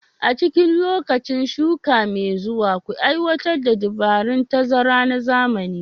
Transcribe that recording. A cikin lokacin shuka mai zuwa, ku aiwatar da dabarun tazara na zamani